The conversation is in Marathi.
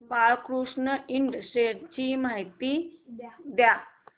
बाळकृष्ण इंड शेअर्स ची माहिती द्या